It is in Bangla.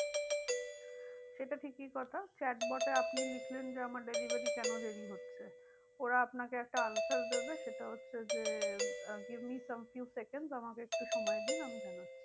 সেটা ঠিকই কথা chat bot এ আপনি লিখলেন যে আমার delivery কেন দেরি হচ্ছে? ওরা আপনাকে একটা answer দেবে সেটা হচ্ছে যে ah give me some few seconds আমাকে একটু সময় দিন আমি জানাচ্ছি।